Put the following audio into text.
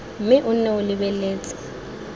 mme o nne o lebeletse